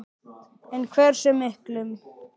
En hversu miklum?